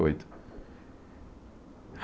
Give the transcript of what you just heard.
Oito.